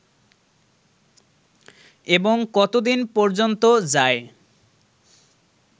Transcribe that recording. এবং কতদিন পর্যন্ত যায়